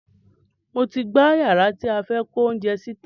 Mo ti gbá yàrá tí a fẹ́ kó oúnjẹ sí tan